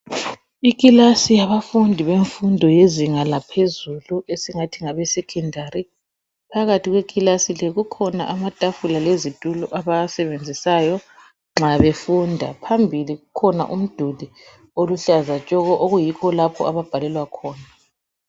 Ikilasi yemfundo yezinga laphezulu esingathi ngabe secondary, phakathi kwekilasi leyi kukhona amatafula lezitulo abawasebenzisayo nxa befunda. Phambili kukhona umduli oluhlaza tshoko okuyikho lapho ababhalela khona